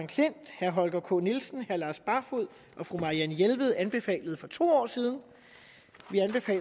klint herre holger k nielsen herre lars barfoed og marianne jelved anbefalede for to år siden